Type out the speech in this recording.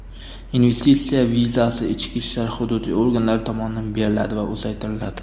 investitsiya vizasi ichki ishlar hududiy organlari tomonidan beriladi va uzaytiriladi.